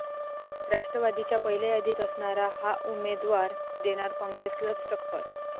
राष्ट्रवादीच्या पहिल्या यादीत असणारा 'हा' उमेदवार देणार काँग्रेसलाच टक्कर